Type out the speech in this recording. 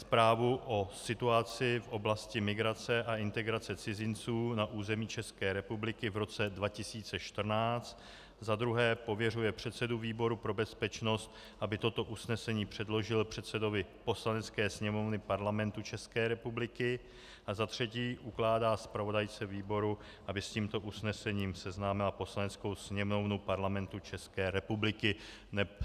Zprávu o situaci v oblasti migrace a integrace cizinců na území České republiky v roce 2014, za druhé pověřuje předsedu výboru pro bezpečnost, aby toto usnesení předložil předsedovi Poslanecké sněmovny Parlamentu České republiky, a za třetí ukládá zpravodajce výboru, aby s tímto usnesením seznámila Poslaneckou sněmovnu Parlamentu České republiky.